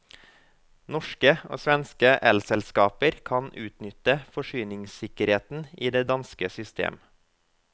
Norske og svenske elselskaber kan udnytte forsyningssikkerheden i det danske system.